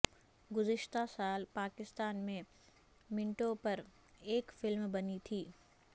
گذشتہ سال پاکستان میں منٹو پر ایک فلم بنی تھی